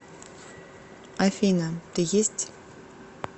афина ты есть